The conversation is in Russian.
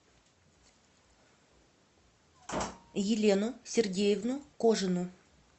елену сергеевну кожину